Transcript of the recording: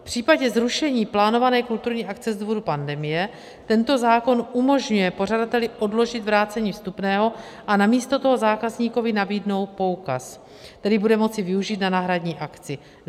V případě zrušení plánované kulturní akce z důvodu pandemie tento zákon umožňuje pořadateli odložit vrácení vstupného a namísto toho zákazníkovi nabídnout poukaz, který bude moci využít na náhradní akci.